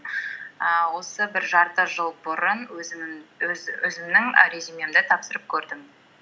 ііі осы бір жарты жыл бұрын өзімнің і резюмемді тапсырып көрдім